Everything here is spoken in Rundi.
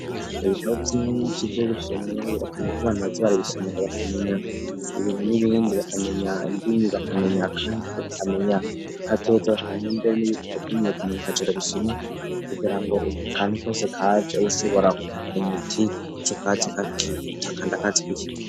Ibitabo vy'inshi vyo gisomwa birakanye ko abantu batzi bari bishima abakamenya ibintu n'ibindi bakamenya inbini bakamenya kandi ko bakamenya kazotze bakamenya imbe n'ibitabo byimiye kumenya akacero bishina kugira ngo kandi kose kaje ushobora kumenya uti ico katzi kutakanda katzi kw'ikintu.